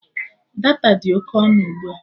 Data dị oke ọnụ ugbua